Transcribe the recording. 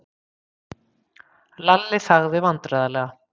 Lalli þagði vandræðalega.